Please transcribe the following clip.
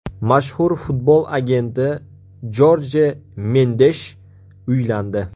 Mashhur futbol agenti Jorje Mendesh uylandi .